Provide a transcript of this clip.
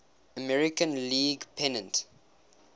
american league pennant